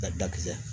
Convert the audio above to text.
Ka dakisi